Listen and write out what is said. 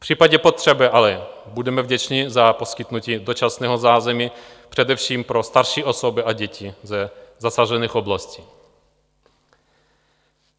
V případě potřeby ale budeme vděční za poskytnutí dočasného zázemí především pro starší osoby a děti ze zasažených oblastí.